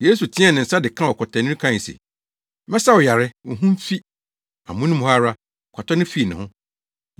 Yesu teɛɛ ne nsa de kaa ɔkwatani no kae se, “Mɛsa wo yare. Wo ho mfi!” Amono mu hɔ ara, kwata no fii ne ho.